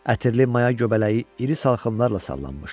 Ətirli maya göbələyi iri salxımlarla sallanmışdı.